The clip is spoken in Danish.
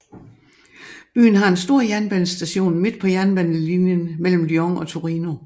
Byen har en stor jernbanestation midt på jernbanelinjen mellem Lyon og Torino